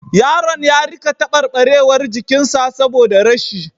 Yaron ya rika tabarbarewar jikin sa saboda rashi